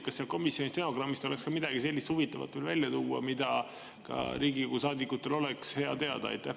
Kas komisjoni oleks veel midagi huvitavat välja tuua, mida ka Riigikogu saadikutel oleks hea teada?